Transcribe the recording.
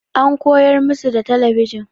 An koyar musu da talabijin.